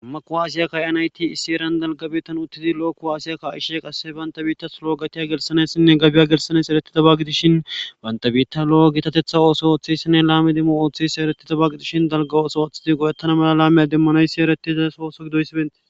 Ammaku asiyakka yan ayti issi eran dalgabeetan uttidi lo7o ku aasiyakka ishe qasse bantabiittas lo7o gatiya gelsanessinne gabiya gelsanes ereti tabagidishin bantabiitta lo7o gitatetha ooso ooththayssinne laami dimmo ooththisi eretti tabagidishin dalga ooso ooththizi godattana mala laameya demmanoysi eretiza soosogidoysibenti